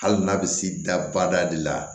Hali n'a bɛ s'i dabada de la